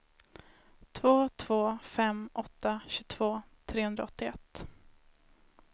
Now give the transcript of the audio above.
två två fem åtta tjugotvå trehundraåttioett